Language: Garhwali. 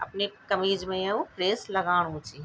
अपने कमीज मे यु प्रेस लगाणु च।